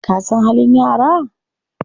Ka san halin yara?